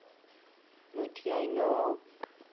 moet jy na